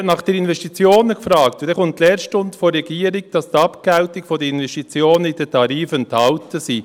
Er hat nach den Investitionen gefragt, und dann kommt die Lehrstunde der Regierung, wonach die Abgeltung der Investitionen in den Tarifen enthalten sei.